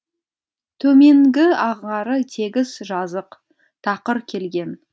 төменгі ағары тегіс жазық тақыр келген